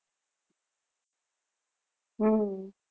હમ